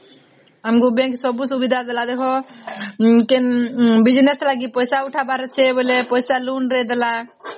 ଆମକୁ bank ସବୁ ସୁବିଧା ଦେଲା ଦେଖ business ଲାଗି ପଇସା ଉଠା ପାରୁଛେ ବୋଇଲେ ପଇସା loan ଦେଇଦେଲା